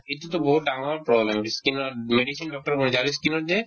এইটোতো বহুত ডাঙৰ problem ই skin ত হৈ যায় আৰু ই skin ত যে